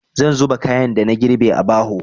Zan zuba kayan da na girbe a buhu.